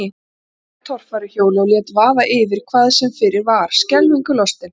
Annar var á torfæruhjóli og lét vaða yfir hvað sem fyrir var, skelfingu lostinn.